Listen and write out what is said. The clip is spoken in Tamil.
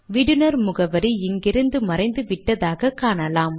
விடுனர் முகவரி இங்கிருந்து மறைந்துவிட்டதாக காணலாம்